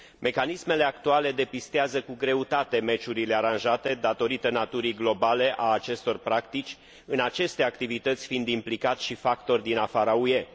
Mecanismele actuale depistează cu greutate meciurile aranjate, datorită naturii globale a acestor practici, în aceste activități fiind implicați și factori din afara UE.